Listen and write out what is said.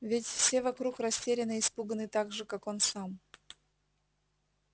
ведь все вокруг растеряны и испуганы так же как он сам